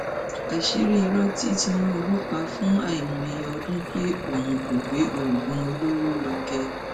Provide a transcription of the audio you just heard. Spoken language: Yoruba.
àṣírí irọ tí tinubu pa fún àìmọye ọdún pé òun kò gbé oògùn olóró lọkẹ